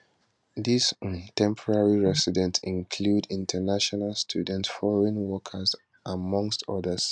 dis um temporary residents include international students foreign workers amongst odas